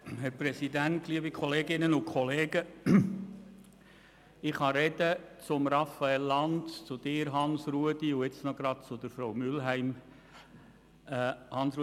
Ich beziehe mich in meinen Ausführungen auf die Gedanken, die Raphael Lanz, Hans-Rudolf Saxer und Barbara Mühlheim dargelegt haben.